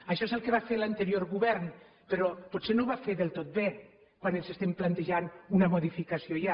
això és el que va fer l’anterior govern però potser no ho va fer del tot bé quan ens estem plantejant una modificació ja